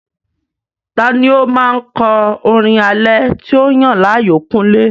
Ta ni ó máa ń kọ orin alẹ́ tí o yàn láàyò, kúnlé?